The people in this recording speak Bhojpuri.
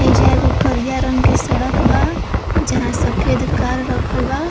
एइजा एगो करिया रंग के सड़क बा। जहाँ सफ़ेद कार रखल बा।